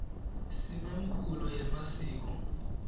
simemkulo yemasiko